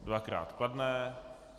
Dvakrát kladné.